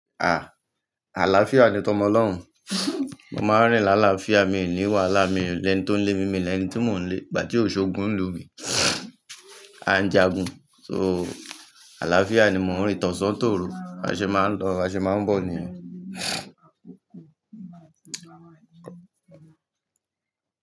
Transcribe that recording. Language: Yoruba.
Ah! Àlàáfíà ni tọmọ ọlọ́run. Mo máa ń rìn láàlàáfíà, mi ò ní wàhálà, mi ò lè ni tó ń lé mi, mi ò lè ẹni tí mò ń lé. Ìgbà tí òṣogùn ń lu mi, a o njàgun. So àlàáfíà ni mo ń rín, tọ̀sán tòru. A ṣe máa ń lọ, a ṣe máa ń bọ̀ nìyẹn.